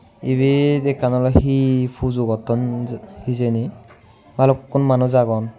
Ebe ekkan hee pujo gotton hijeni ballukun manuch agon.